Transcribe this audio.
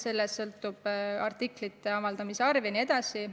Sellest sõltub artiklite avaldamise arv jne.